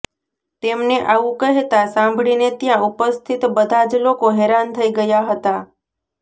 તેમને આવું કહેતા સાંભળીને ત્યાં ઉપસ્થિત બધા જ લોકો હેરાન થઈ ગયા હતા